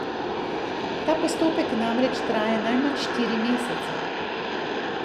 Ta postopek namreč traja najmanj štiri mesece.